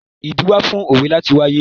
Ìdí wà fún òwe láti wáyé.